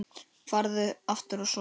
Farðu aftur að sofa.